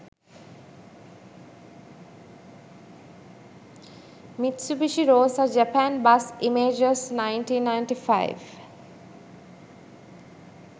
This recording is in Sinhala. mitsubishi rosa japan bus images 1995